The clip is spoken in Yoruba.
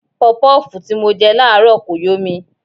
Pọpọ́ọ̀fù tí mo jẹ láàárọ̀ kò yó mi.